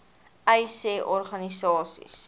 uys sê organisasies